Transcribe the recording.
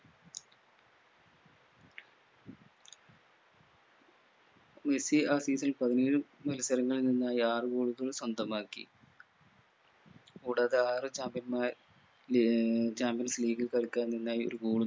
Messi ആ season ൽ പതിനേഴ് മത്സരങ്ങളിൽ നിന്നായി ആറ് goal കൾ സ്വന്തമാക്കി കൂടാതെ ആറ് ചാമ്പ്യൻമാ ലീ ഏർ champions league ൽ കളിക്കാൻ നിന്നായി ഒരു goal